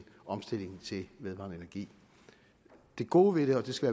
omstillingen til vedvarende energi det gode ved det og det skal